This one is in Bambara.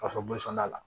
Ka fɔ la